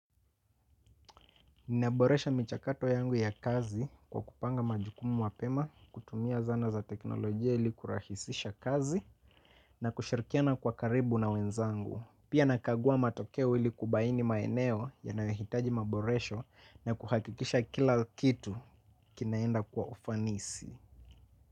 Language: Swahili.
Ninaboresha michakato yangu ya kazi, kwa kupanga majukumu mapema, kutumia zana za teknolojia ili kurahisisha kazi na kushirikiana kwa karibu na wenzangu. Pia, nakagua matokeo ili kubaini maeneo yanayohitaji maboresho na kuhakikisha kila kitu kinaenda kwa ufanisi.